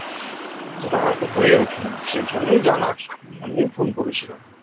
যেটা হয়তো হয়ে ওঠেনি সেই জন্য জানার জন্য ফোন করেছিলাম